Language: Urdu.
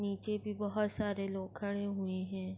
یہا پر سرس --